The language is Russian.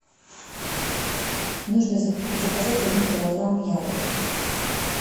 нужно заказать один килограмм яблок